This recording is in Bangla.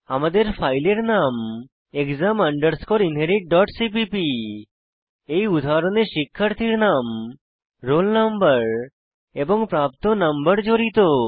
আমাদের ফাইলের নাম exam underscore inherit dot CPP এই উদাহরণে শিক্ষার্থীর নাম রোল নম্বর এবং প্রাপ্ত নম্বর জড়িত